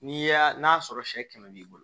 N'i y'a n'a sɔrɔ sɛ kɛmɛ b'i bolo